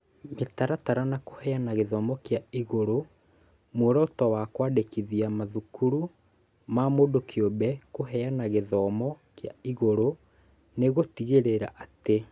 Mĩtaratara na kũheana gĩthomo kĩa igũrũ. Muoroto wa kwandĩkithia mathukuru ma mũndũ kĩũmbe kũheana gĩthomo kĩa igũrũ nĩ gũtigĩrĩra atĩ: